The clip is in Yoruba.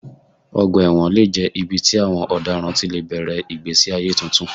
Ọgbà ẹ̀wọ̀n lè jẹ́ ibi tí àwọn ọ̀daràn ti lè bẹ̀rẹ̀ ìgbésí ayé tuntun.